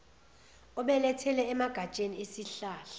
obelethele emagatsheni esihlahla